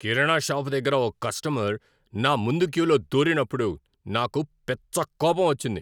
కిరాణా shop దగ్గర ఓ customer నా ముందు క్యూలో దూరినప్పుడు నాకు పిచ్చ కోపం వచ్చింది.